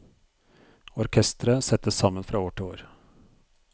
Orkestret settes sammen fra år til år.